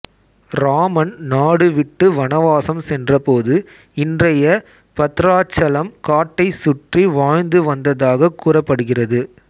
ராமன் நாடு விட்டு வனவாசம் சென்றபோது இன்றைய பத்ராச்சலம் காட்டைச் சுற்றி வாழ்ந்து வந்ததாக கூறப்படுகிறது